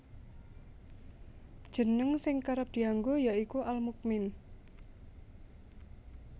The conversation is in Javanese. Jeneng sing kerep dianggo ya iku Al Mukmin